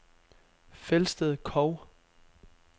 Felsted Kog